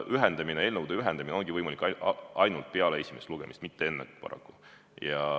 Eelnõude ühendamine ongi võimalik ainult peale esimest lugemist, mitte enne, paraku.